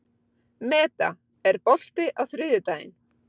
Meda, er bolti á þriðjudaginn?